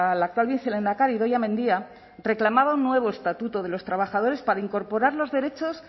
la actual vicelehendakari idoia mendia reclamaba un nuevo estatuto de los trabajadores para incorporar los derechos